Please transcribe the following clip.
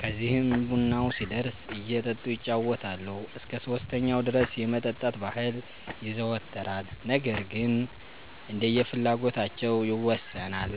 ከዚህም ቡናው ሲደርስ እየጠጡ ይጫወታሉ። እስከ 3ኛው ድረስ የመጠጣት ባህል ይዘወተራል ነገር ግን እንደየፍላጎታቸው ይወሠናል።